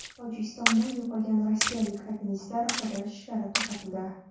Tojikistonda yo‘qolgan rossiyalik alpinistlarni qidirish ishlari to‘xtatildi.